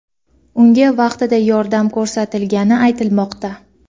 unga vaqtida yordam ko‘rsatilgani aytilmoqda.